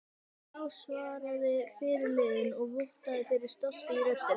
Já, svaraði fyrirliðinn og vottaði fyrir stolti í röddinni.